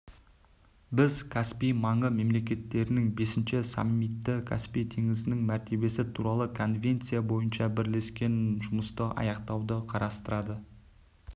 біз каспий маңы мемлекеттерінің бесінші саммиті каспий теңізінің мәртебесі туралы конвенция бойынша бірлескен жұмысты аяқтауды қарастырады